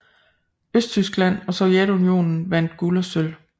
Østtyskland og Sovjetunionen vandt guld og sølv